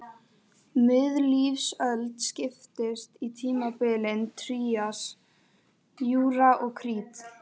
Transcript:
Miðlífsöld skiptist í tímabilin trías, júra og krít.